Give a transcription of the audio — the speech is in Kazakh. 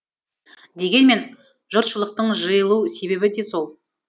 дегенмен жұртшылықтың жиылу себебі де сол